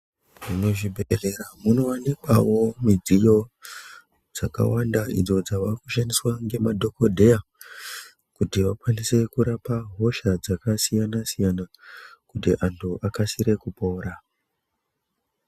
Muzvibhedhlera, munowanikwawo midziyo dzakawanda, idzo dzavakushandiswa ngemadhokodheya kuti vakwanise kurapa hosha dzakasiyana-siyana, kuti antu akasire kupora.